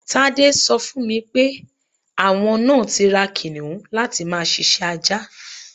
Tádé so̩ fún mi pé àwo̩n náà ti ra kìnìún láti máa s̩is̩é̩ ajá.